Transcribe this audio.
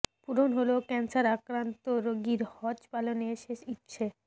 পূরণ হলো ক্যান্সার আক্রান্ত রোগীর হজ পালনের শেষ ইচ্ছে